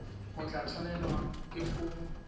o tla tshwanelwa ke go